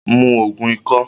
Mu Ògùn ikọ́!